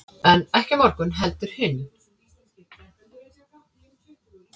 en ekki á morgun heldur hinn